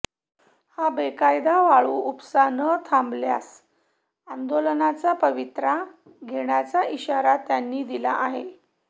हा बेकायदा वाळू उपसा न थांबल्यास आंदोलनाचा पवित्रा घेण्याचा इशारा त्यांनी दिला आहे